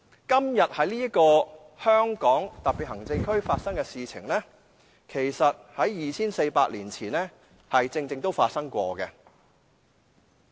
今天在香港特別行政區發生的事情，其實正正在 2,400 年前曾經發生。